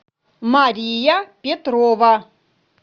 мария петрова